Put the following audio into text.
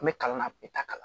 N bɛ kalan na a bɛ taa kalan